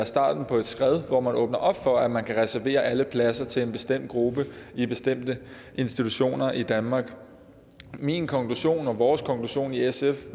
starten på et skred hvor man åbner op for at man kan reservere alle pladser til en bestemt gruppe i bestemte institutioner i danmark min konklusion og vores konklusion i sf